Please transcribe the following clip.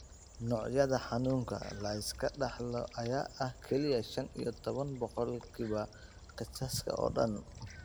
Noocyada xanuunka la iska dhaxlo ayaa ah kaliya shan iyo toban boqolkiiba kiisaska oo dhan.